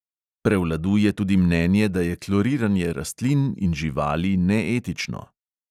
Prevladuje tudi mnenje, da je kloriranje rastlin in živali neetično.